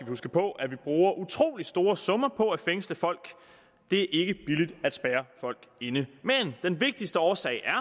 huske på at vi bruger utrolig store summer på at fængsle folk det er ikke billigt at spærre folk inde men den vigtigste årsag er